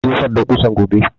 Zai jefar da ƙusan gobe